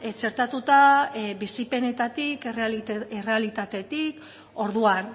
txertatuta bizipenetatik errealitatetik orduan